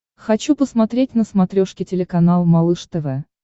хочу посмотреть на смотрешке телеканал малыш тв